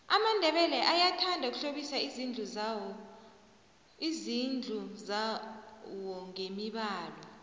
amandebele ayathanda ukuhlobisa izindlu zawongemibalo